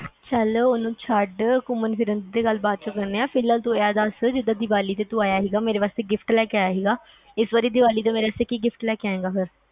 ਚਾਲ ਉਹਨੂੰ ਛੱਡ ਘੁੰਮਣ ਫਿਰਾਂ ਦੀ ਗੱਲ ਬਾਅਦ ਚ ਕਰਦੇ ਹਾਂ ਫਿਲਾਲ ਤੂੰ ਇਹ ਦਸ ਜਿੰਦਾ ਦੀਵਾਲੀ ਤੂੰ ਆਇਆ ਸੀ ਮੇਰੇ ਵਾਸਤੇ gift ਲੈ ਕੇ ਆਇਆ ਸੀਗਾ ਇਸ ਵਾਰ ਦੀਵਾਲੀ ਤੇ ਕਿ gift ਲੈ ਕੇ ਆਏਗਾ